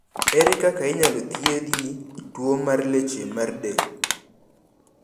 Ere kaka inyalo thiedhi tuwo mar leche mag deld?